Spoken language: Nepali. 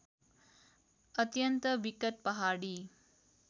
अत्यन्त विकट पहाडी